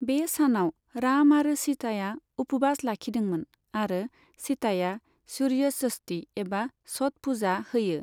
बे सानाव राम आरो सीताया उपवास लाखिदोंमोन आरो सीताया सुर्य षष्ठी एबा छठ पुजा होयो।